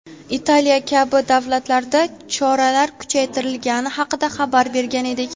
Italiya kabi davlatlarda choralar kuchaytirilgani haqida xabar bergan edik.